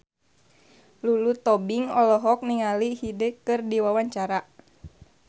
Lulu Tobing olohok ningali Hyde keur diwawancara